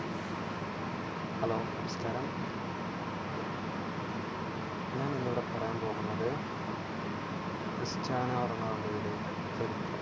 Hello നമസ്ക്കാരം ഞാൻ ഇന്ന് ഇവിടെ പറയാൻ പോകുന്നത് ക്രിസ്റ്റ്യാനോ റൊണാൾഡോയുടെ ചരിത്രം